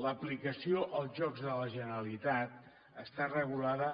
l’aplicació als jocs de la generalitat està regulada